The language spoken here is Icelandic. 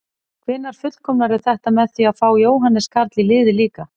Hvenær fullkomnarðu þetta með því að fá Jóhannes Karl í liðið líka?